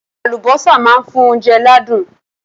Àlùbọ́sà máa ń fún oúnjẹ ládùn.